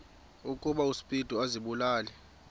ukuba uspido azibulale